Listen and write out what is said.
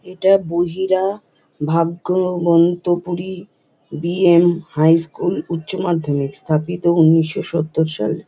এটা বহিরা ভাগ্যাবন্তাপুরী বি.এম হাই স্কুল উচ্চ মাধ্যমিক স্থাপিত উনিশ সওর সাল ।